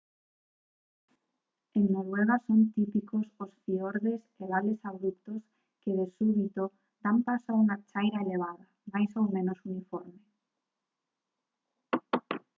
en noruega son típicos os fiordes e vales abruptos que de súbito dan paso a unha chaira elevada máis ou menos uniforme